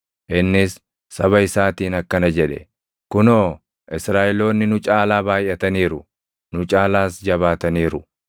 Innis saba isaatiin akkana jedhe; “Kunoo, Israaʼeloonni nu caalaa baayʼataniiru; nu caalaas jabaataniiru.